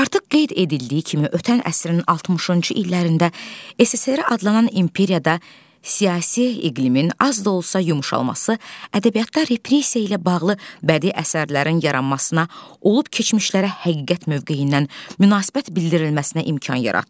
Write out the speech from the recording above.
Artıq qeyd edildiyi kimi, ötən əsrin 60-cı illərində SSRİ adlanan imperiyada siyasi iqlimin az da olsa yumşalması ədəbiyyatda repressiya ilə bağlı bədii əsərlərin yaranmasına, olub-keçmişlərə həqiqət mövqeyindən münasibət bildirilməsinə imkan yaratdı.